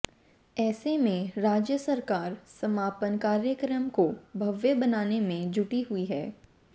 ऐसे में राज्य सरकार समापन कार्यक्रम को भव्य बनाने में जुटी हुई है